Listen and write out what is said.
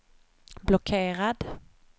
blockerad